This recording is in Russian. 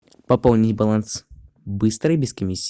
пополнить баланс быстро и без комиссии